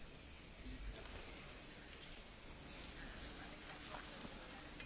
Monsieur le Président, je suis content que ma première réponse ne vous ait pas déçu.